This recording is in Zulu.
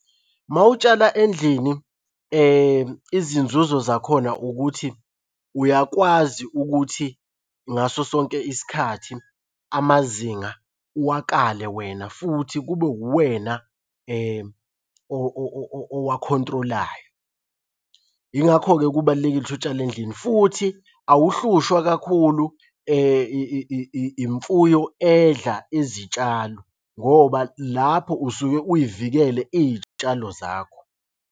Uma utshala endlini izinzuzo zakhona ukuthi uyakwazi ukuthi ngaso sonke isikhathi amazinga uwakale wena futhi kube uwena owa-control-ayo. Yingakho kubalulekile ukuthi utshale endlini, futhi awuhlushwa kakhulu imfuyo edla izitshalo ngoba lapho usuke uy'vikele iy'tshalo zakho.